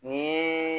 Ni